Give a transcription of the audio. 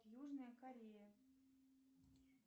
южная корея